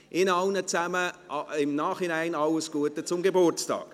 Ihnen allen im Nachhinein alles Gute zum Geburtstag.